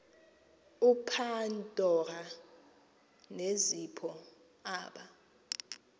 upandora nezipho aba